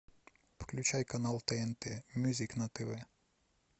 включай канал тнт мьюзик на тв